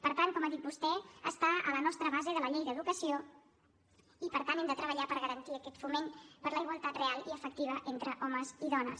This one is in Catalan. per tant com ha dit vostè està a la nostra base de la llei de l’educació i per tant hem de treballar per garantir aquest foment per la igualtat real i efectiva entre homes i dones